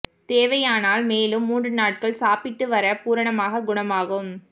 தேவையானால் மேலும் மூன்று நாட்கள் சாப்பிட்டு வர பூரணமாகக் குணமாகும்